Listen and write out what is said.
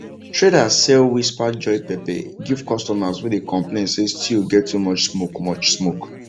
traders sell whisper joy pepper give customers wey dey complain say stew get too much smoke much smoke